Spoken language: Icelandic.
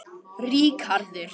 Ríkharður